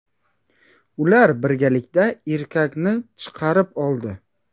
Ular birgalikda erkakni chiqarib oldi.